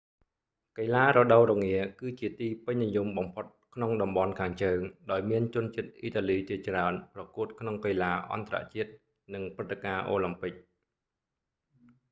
កីឡារដូវរងា គឺជាទីពេញនិយមបំផុតក្នុងតំបន់ខាងជើង ដោយមានជនជាតិអ៊ីតាលីជាច្រើនប្រកួតក្នុងកីឡាអន្តរជាតិ និងព្រឹត្តិការណ៍អូឡាំពិក